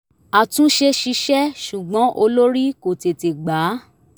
àtúnṣe ṣiṣẹ́ ṣùgbọ́n olórí kò tete gba á